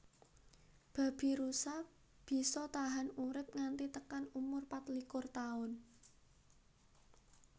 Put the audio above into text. Babirusa bisa tahan urip nganti tekan umur patlikur Taun